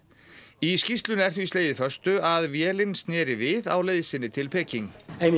í skýrslunni er því slegið föstu að vélin sneri við á leið sinni til Peking